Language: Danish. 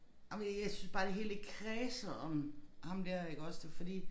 Ej men jeg synes bare det hele det kredser om ham der iggås det fordi